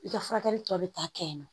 I ka furakɛli tɔ bɛ taa kɛ yen nɔ